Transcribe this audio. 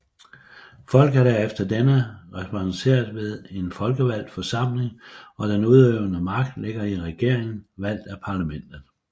Folket er efter denne repræsenteret ved en folkevalgt forsamling og den udøvende magt ligger i regeringen valgt af parlamentet